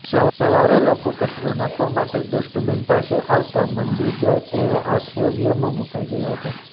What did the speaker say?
સવારે લોકો કચરો નાંખવા માટે ડસ્ટબીન પાસે આવતા મંદીર જાઇ તેઓ આશ્રર્યમાં મુકાઇ ગયા હતા